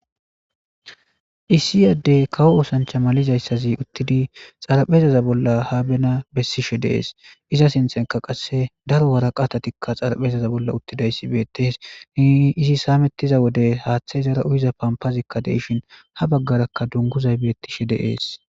Issi yaddey kawo oosancha malizayssazi uttidi xarapezaza bolla haabena bessishe deees iza sinxenka qasse daro waraqa atatikka xarapheza bolla uttida issi beetees ni izi saamettiza wode haaththe izara uyiza pampazikka deishin ha baggarakka dunguzay beettishe deees.